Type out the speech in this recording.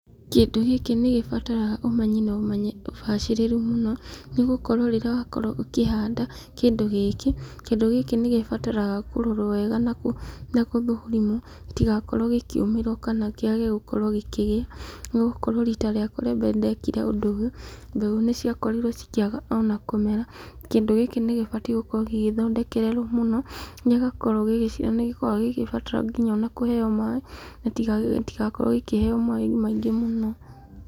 Kĩndũ gĩkĩ nĩ gĩbataraga ũmenyi na ũbacĩrĩri mũno, nĩ gũkorũo rĩrĩa wa korũo ũkĩhanda kĩndũ gĩkĩ, kĩndũ gĩkĩ nĩ gĩbataraga kũrorũo wega na gũthũrimwo gĩtigakorũo gĩkĩũmĩrũo, kĩage gũkorũo gĩkĩgĩa nĩ gũkorũo rita rĩakwa rĩa mbere, nĩ ndekire ũndũ ũyũ, mbegũ nĩ cia korirwo cikĩaga o na kũmera. Kĩndũ gĩkĩ nĩ gĩbatiĩ gũkorũo gĩgĩthondekerũo mũno nĩ gĩkoragũo gĩgĩciara nĩ gĩkoragũo gĩgĩbatara nginya o na kũheo, maaĩ gĩtigakorũo gĩkĩheo maaĩ maingĩ mũno.